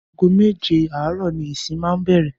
Aago méje àárò̩ ni ìsìn máa ń bè̩rè̩